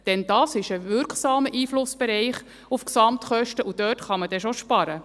Denn das ist ein wirksamer Einflussbereich auf die Gesamtkosten, und dort kann man dann doch sparen.